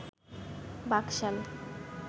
Baksal